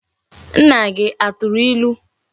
Nna gi aturu ilu?